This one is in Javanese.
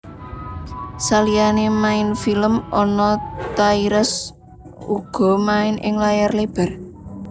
Saliyané main film Anna Tairas uga main ing layar lebar